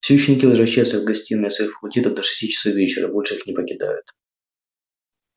все ученики возвращаются в гостиные своих факультетов до шести часов вечера и больше их не покидают